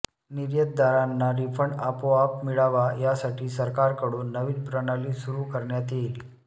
निर्यातदारांना रिफंड आपोआप मिळावा यासाठी सरकारकडून नवीन प्रणाली सुरू करण्यात येईल